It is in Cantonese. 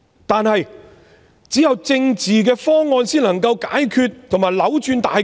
但是，只有政治的方案才能解決和扭轉大局。